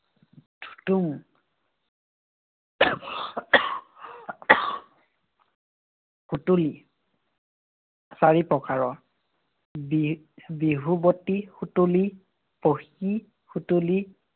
তুং। সুতুলী চাৰি প্ৰকাৰৰ। বি~ বিহুৱতী সুতুলী, সুতুলী